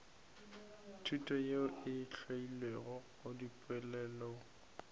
thuto yeo e theilwego dipoelong